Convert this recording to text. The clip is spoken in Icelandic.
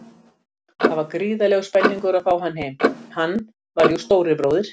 Það var gríðarlegur spenningur að fá hann heim, hann var jú stóri bróðir.